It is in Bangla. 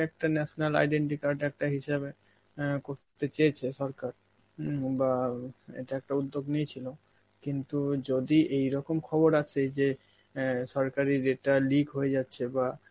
একটা national identity card একটা হিসাবে অ্যাঁ করতে চেয়েছে সরকার, হম বা এটা একটা উদ্যোগ নিয়েছিল, কিন্তু যদি এইরকম খবর আসে যে অ্যাঁ সরকারি যেটা leak হয়ে যাচ্ছে বা